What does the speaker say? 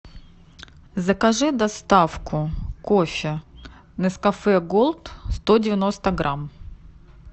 закажи доставку кофе нескафе голд сто девяносто грамм